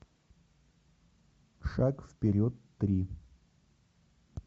шаг вперед три